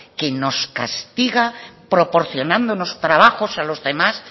que nos castiga proporcionándonos trabajos a los demás